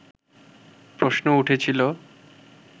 প্রশ্ন উঠেছিল